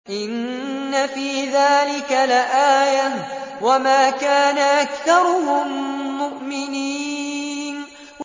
إِنَّ فِي ذَٰلِكَ لَآيَةً ۖ وَمَا كَانَ أَكْثَرُهُم مُّؤْمِنِينَ